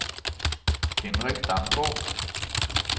Henrik Damgaard